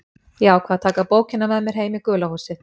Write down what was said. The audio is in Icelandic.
Ég ákvað að taka bókina með mér heim í gula húsið.